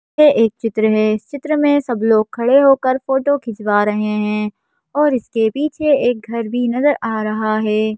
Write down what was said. यह एक चित्र है इस चित्र में सब लोग खड़े होकर फोटो खिंचवा रहे हैं और इसके पीछे एक घर भी नजर आ रहा है।